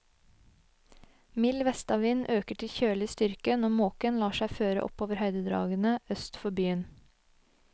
Mild vestavind øker til kjølig styrke når måken lar seg føre opp over høydedragene øst for byen.